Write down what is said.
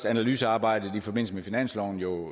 analysearbejdet i forbindelse med finansloven jo